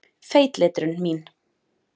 Feitletrun mín.